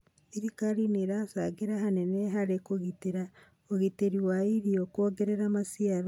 Thirikari nĩ ĩracangĩra hanene harĩ gũtigĩrĩra ũgitĩri wa irio, kuongerera maciaro.